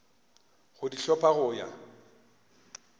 go di hlopha go ya